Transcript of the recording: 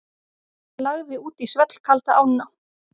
Lagði út í svellkalda ána